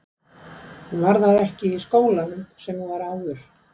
Hún var það ekki í skólanum sem hún var í áður.